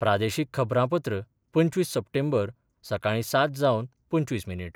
प्रादेशीक खबरांपत्र पंचवीस सप्टेंबर, सकाळी सात जावन पंचवीस मिनीट